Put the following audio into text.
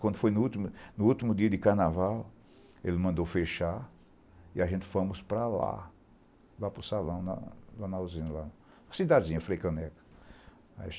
Quando foi no último dia de carnaval, ele mandou fechar e a gente fomos para lá, para o salão, a cidadezinha, Freicaneca.